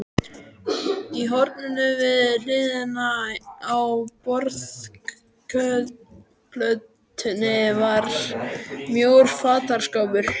Í horninu við hliðina á borðplötunni var mjór fataskápur.